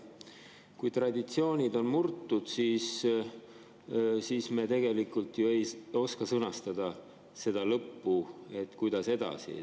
Kui traditsioonid on murtud, siis me ju ei oska sõnastada seda lõppu, et kuidas edasi.